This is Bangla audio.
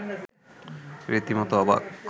রীতিমত অবাক